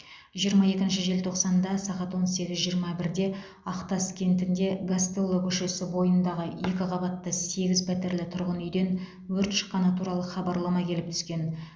жиырма екінші желтоқсанда сағат он сегіз жиырма бірде ақтас кентінде гастелло көшесі бойындағы екі қабатты сегіз пәтерлі тұрғын үйден өрт шыққаны туралы хабарлама келіп түскен